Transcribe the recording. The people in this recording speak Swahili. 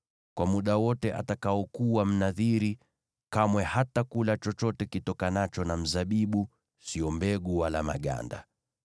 Kwa muda wote atakaokuwa Mnadhiri, kamwe hatakula chochote kitokanacho na mzabibu, sio mbegu wala maganda.